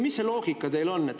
Mis loogika teil on?